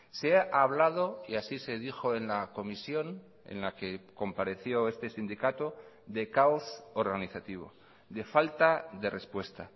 se ha hablado y así se dijo en la comisión en la que compareció este sindicato de caos organizativo de falta de respuesta